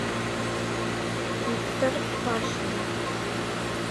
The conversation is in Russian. виктор пашнин